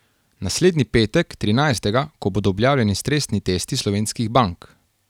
Naslednji petek, trinajstega, ko bodo objavljeni stresni testi slovenskih bank.